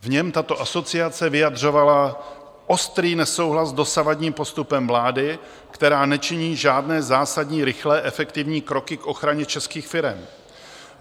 V něm tato asociace vyjadřovala ostrý nesouhlas s dosavadním postupem vlády, která nečiní žádné zásadní rychlé efektivní kroky k ochraně českých firem.